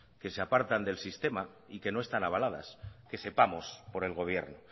que se apartan del sistema y que no están avaladas que sepamos por el gobierno